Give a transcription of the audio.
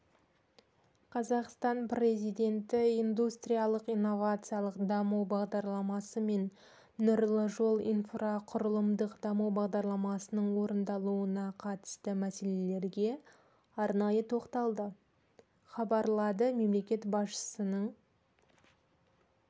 қазақстан президенті индустриялық-инновациялық даму бағдарламасы мен нұрлы жол инфрақұрылымдық даму бағдарламасының орындалуына қатысты мәселелерге арнайы тоқталды хабарлады мемлекет басшысының